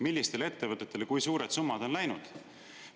Millistele ettevõtetele kui suured summad on läinud?